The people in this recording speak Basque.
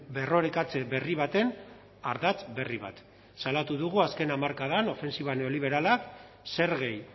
berrorekatze berri baten ardatz berri bat salatu dugu azken hamarkadan ofentsiba neoliberalak zergei